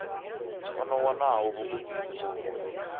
o no wanaho vhugudisi uvho